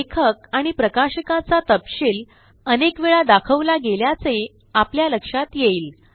लेखक आणि प्रकाशकाचा तपशील अनेक वेळा दाखवला गेल्याचे आपल्या लक्षात येईल